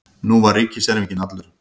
Nú var ríkiserfinginn allur.